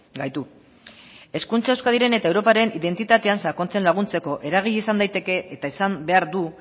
gaitu hezkuntza euskadiren eta europaren identitatean sakontzen laguntzeko eragile izan daiteke eta izan behar du